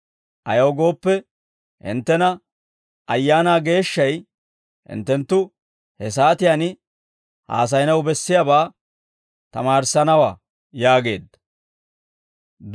ayaw gooppe, hinttena Ayaanaa Geeshshay hinttenttu he saatiyaan haasayanaw bessiyaabaa tamaarissanawaa» yaageedda.